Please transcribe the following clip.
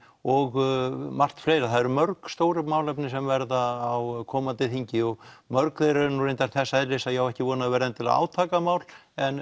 og margt fleira það eru mörg stór málefni sem verða á komandi þingi og mörg þeirra eru reyndar þess eðlis að ég á ekki von á þau verði endilega átakamál en